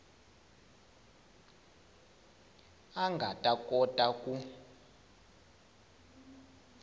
a nga ta kota ku